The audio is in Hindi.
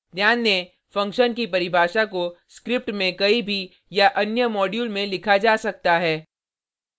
ध्यान दें फंक्शन की परिभाषा को स्क्रिप्ट में कहीं भी या अन्य मॉड्यूल में लिखा जा सकता है